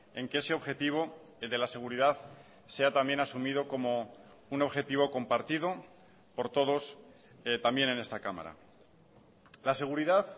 en que ese objetivo de la seguridad sea también asumido como un objetivo compartido por todos también en esta cámara la seguridad